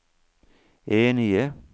enige